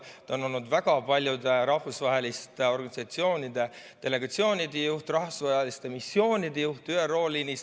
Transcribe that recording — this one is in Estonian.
Ta on olnud väga paljude rahvusvaheliste organisatsioonide delegatsioonide juht ja rahvusvaheliste missioonide juht ÜRO liinis.